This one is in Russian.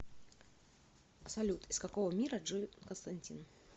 салют из какого мира джон константин